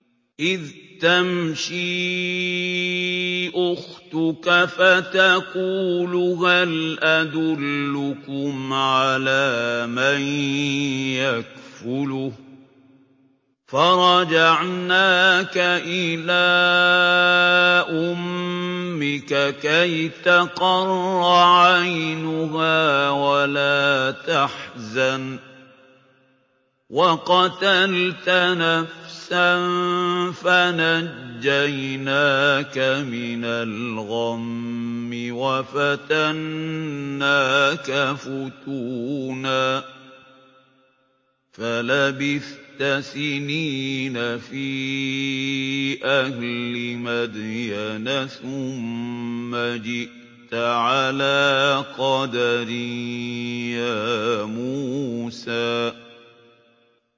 إِذْ تَمْشِي أُخْتُكَ فَتَقُولُ هَلْ أَدُلُّكُمْ عَلَىٰ مَن يَكْفُلُهُ ۖ فَرَجَعْنَاكَ إِلَىٰ أُمِّكَ كَيْ تَقَرَّ عَيْنُهَا وَلَا تَحْزَنَ ۚ وَقَتَلْتَ نَفْسًا فَنَجَّيْنَاكَ مِنَ الْغَمِّ وَفَتَنَّاكَ فُتُونًا ۚ فَلَبِثْتَ سِنِينَ فِي أَهْلِ مَدْيَنَ ثُمَّ جِئْتَ عَلَىٰ قَدَرٍ يَا مُوسَىٰ